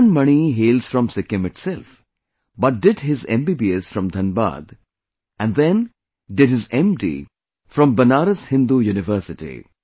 Madan Mani hails from Sikkim itself, but did his MBBS from Dhanbad and then did his MD from Banaras Hindu University